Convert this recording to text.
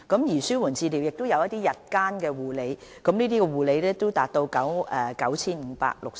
此外，紓緩治療服務亦涉及日間護理，就診人次達 9,560。